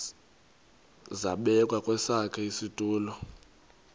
zabekwa kwesakhe isitulo